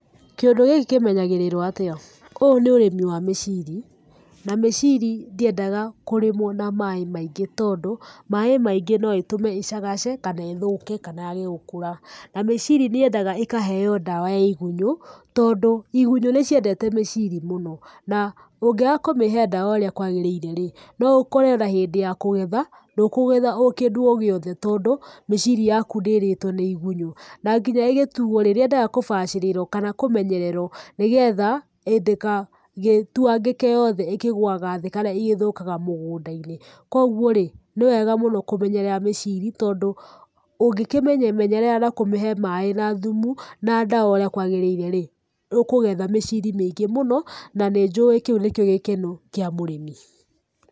Kĩndũ gĩkĩ kĩmenyagĩrĩrwo atĩa? Ũyũ nĩ ũrĩmi wa mĩcĩri, na mĩcĩri ndĩendaga kũrĩmwo na maaĩ maingĩ, tondũ maaĩ maingĩ no ĩtũme ĩcagace kana ĩthũke kana yage gũkũra. Na mĩcĩri nĩ yendaga ĩkaheo ndawa ya igunyũ, tondũ igunyũ nĩ ciendete mĩcĩri mũno. Na, ũngeaga kũmĩhe ndawa ũrĩa kwagĩrĩire rĩ, no ũkore ona hĩndĩ ya kũgetha, ndũkũgetha kindũ o gĩothe tondũ mĩcĩri yaku nĩ ĩrĩtwo nĩ igunyũ. Na nginya ĩgĩtuo rĩ, nĩ yendaga kũbacĩrĩrwo kana kũmenyererwo nĩgetha ndĩkagĩtuangĩke yothe ĩkĩgũaga thĩ kana igĩthũkaga mũgũnda-inĩ. Kũoguo rĩ, nĩwega mũno kũmenyerera mĩcĩri tondũ ũngĩkĩmĩmenyerera na kũmihe maaĩ na thumu, na ndawa ũrĩa kwagĩrĩire rĩ, nĩ ũkũgetha mĩcĩri mĩingĩ muno, na nĩ njũĩ kĩu nĩkĩo gĩkeno kĩa mũrĩmi.